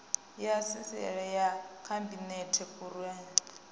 ya sisieme ya khabinete khuruanyi